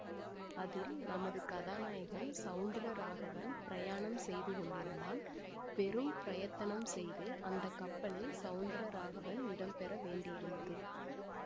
அதில் நமது கதாநாயகன் சௌந்தர ராகவன் பிரயாணம் செய்து கொண்டிருந்தான் பெரும் பிரயத்தனம் செய்து அந்த கப்பலில் சௌந்தர ராகவன் இடம் பெற வேண்டியிருந்தது